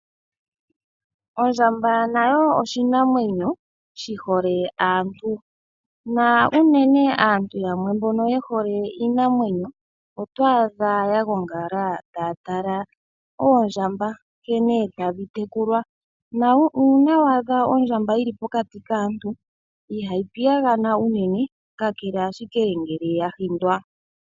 Ondjamba nayo oshinamwenyo shi hole aantu. Unene aantu mbono ye hole iinamwenyo oto adha ya gongala taya tala oondjamba nkene tadhi tekulwa nuuna wa adha oondjamba dhi li pokati kaantu, ihayi piyagana unene kakele ashike ngele ya hindwa.